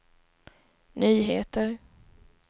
nyheter